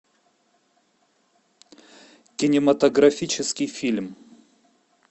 кинематографический фильм